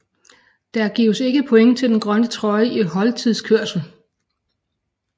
Der gives ikke point til den grønne trøje i holdtidskørslen